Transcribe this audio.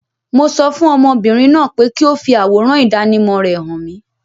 Mo sọ fún ọmọbìnrin náà pé kí ó fi àwòrán ìdánimọ̀ rẹ hàn mìí.